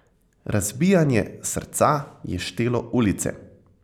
Razbijanje srca je štelo ulice.